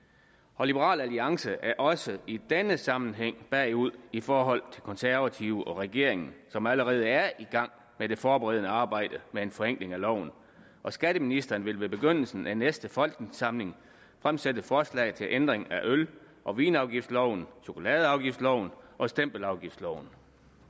og liberal alliance er også i denne sammenhæng bagud i forhold til de konservative og regeringen som allerede er i gang med det forberedende arbejde med en forenkling af loven skatteministeren vil ved begyndelsen af næste folketingssamling fremsætte forslag til ændring af øl og vinafgiftsloven chokoladeafgiftsloven og stempelafgiftloven